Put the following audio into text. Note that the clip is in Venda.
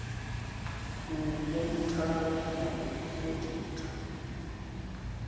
u monithara na u oditha